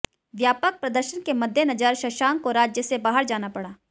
व्यापक प्रदर्शन के मद्देनजर शशांक को राज्य से बाहर जाना पड़ा